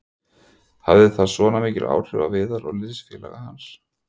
Hafði það svona mikil áhrif á Viðar og liðsfélaga hans?